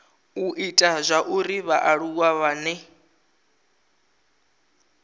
u ita zwauri vhaaluwa vhane